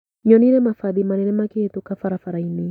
Nyonire mabathi manene makihĩtũka barabarainĩ.